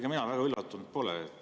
Ega mina väga üllatunud pole.